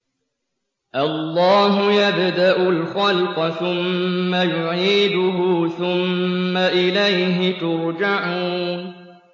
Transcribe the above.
اللَّهُ يَبْدَأُ الْخَلْقَ ثُمَّ يُعِيدُهُ ثُمَّ إِلَيْهِ تُرْجَعُونَ